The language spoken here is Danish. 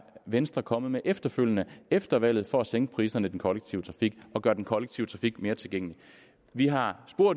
venstre kommet med efterfølgende efter valget for at sænke priserne på den kollektive trafik og gøre den kollektive trafik mere tilgængelig vi har